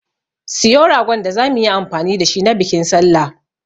Siyo ragon da zamu yi amfani da shi na bikin sallah.